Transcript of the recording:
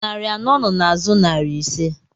Narị anọ nọ n'azụ narị ise